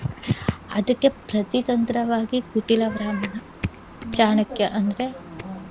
ಅದಕ್ಕೆ ಪ್ರತಿ ತಂತ್ರವಾಗಿ ಕುಟಿಲ ಬ್ರಾಹ್ಮಣ ಚಾಣಕ್ಯ ಅಂದ್ರೆ